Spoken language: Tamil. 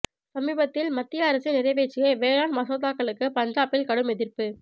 சமீபத்தில் மத்திய அரசு நிறைவேற்றிய வேளாண் மசோதாக்களுக்கு பஞ்சாபில் கடும் எதிர்ப்பு